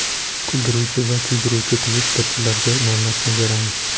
Kuldiruvchi va kuydiruvchi Twitter’chilarga navbatni beramiz.